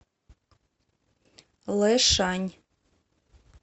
лэшань